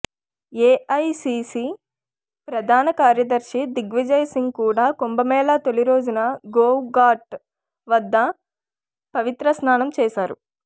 AICC ప్రధాన కార్యదర్శి దిగ్విజయ్ సింగ్ కూడా కుంభమేళా తొలి రోజున గౌఘాట్ వద్ద పవిత్ర స్నానం చేశారు